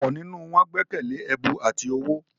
ọ̀pọ̀ nínú wọn gbẹ́kẹ̀lẹ́ “ẹ̀bù ati owó ”.